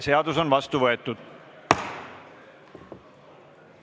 Seadus on vastu võetud!